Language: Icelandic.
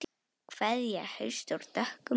Kveðja hausts úr dökkum runni.